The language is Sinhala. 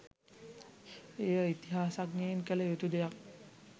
එය ඉතිහාසඥයන් කළ යුතු දෙයක්.